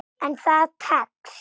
En það tekst.